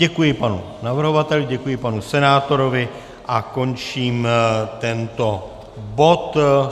Děkuji panu navrhovateli, děkuji panu senátorovi a končím tento bod.